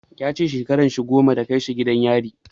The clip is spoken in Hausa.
Ya ce shekaran shi goma da kai shi gidan yari.